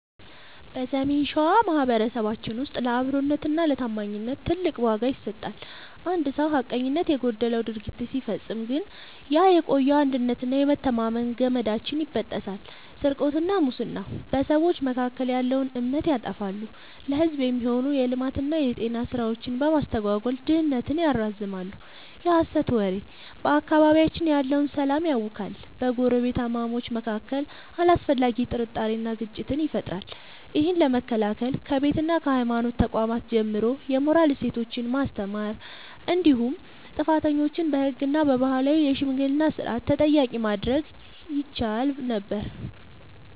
በሰሜን ሸዋ ማኅበረሰባችን ውስጥ ለአብሮነትና ለታማኝነት ትልቅ ዋጋ ይሰጣል። አንድ ሰው ሐቀኝነት የጎደለው ድርጊት ሲፈጽም ግን ያ የቆየው የአንድነትና የመተማመን ገመዳችን ይበጠሳል። ስርቆትና ሙስና፦ በሰዎች መካከል ያለውን እምነት ያጠፋሉ፤ ለሕዝብ የሚሆኑ የልማትና የጤና ሥራዎችን በማስተጓጎል ድህነትን ያራዝማሉ። የሐሰት ወሬ፦ በአካባቢያችን ያለውን ሰላም ያውካል፤ በጎረቤታማቾች መካከል አላስፈላጊ ጥርጣሬንና ግጭትን ይፈጥራል። ይህን ለመከላከል ከቤትና ከሃይማኖት ተቋማት ጀምሮ የሞራል እሴቶችን ማስተማር እንዲሁም ጥፋተኞችን በሕግና በባህላዊ የሽምግልና ሥርዓት ተጠያቂ ማድረግ ይቻል ነበር።